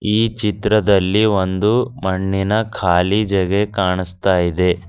ಈ ಚಿತ್ರದಲ್ಲಿ ಒಂದು ಮಣ್ಣಿನ ಕಾಲಿ ಜಗ ಕಾಣಿಸ್ತಾ ಇದೆ.